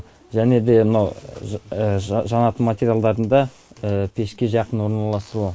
және де мынау жанатын материалдарында пешке жақын орналасуы